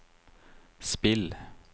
spill